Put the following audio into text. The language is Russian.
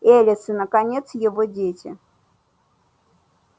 элис и наконец его дети